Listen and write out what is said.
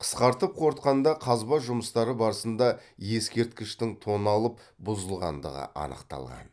қысқартып қорытқанда қазба жұмыстары барысында ескерткіштің тоналып бұзылғандығы анықталған